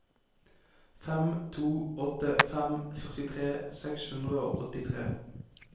fem to åtte fem førtitre seks hundre og åttitre